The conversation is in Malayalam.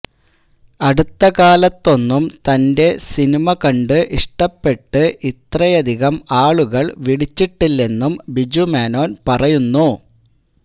അടുത്തകാലത്തൊന്നും തന്റെ സിനിമ കണ്ട് ഇഷ്ടപ്പെട്ട് ഇത്രയധികം ആളുകള് വിളിച്ചിട്ടില്ലെന്നും ബിജുമേനോന് പറയുന്നു